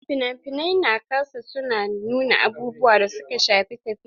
Fina-finai na kasada su na nuna abubuwan da suka shafi tafiya.